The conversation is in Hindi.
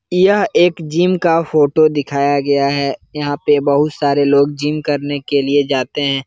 यह एक जिम का फ़ोटो दिखाया गया है यहां पे बहुत सारे लोग जिम करने के लिए जाते हैं।